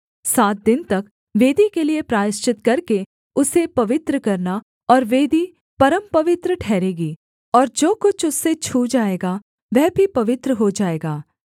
सात दिन तक वेदी के लिये प्रायश्चित करके उसे पवित्र करना और वेदी परमपवित्र ठहरेगी और जो कुछ उससे छू जाएगा वह भी पवित्र हो जाएगा